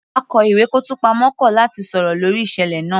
Akó ìwé kọ́ọ̀tù pamọ́ kọ̀ láti sọ̀rọ̀ lórí ìṣẹ̀lẹ̀ náà